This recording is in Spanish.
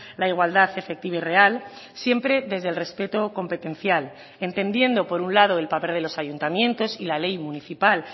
la igualdad efectiva y real siempre desde el respeto competencial entendiendo por un lado el papel de los ayuntamientos y la ley municipal